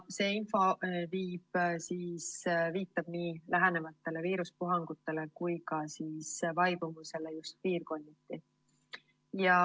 See info viitab nii lähenevatele viiruspuhangutele kui ka nende vaibumisele just piirkonniti.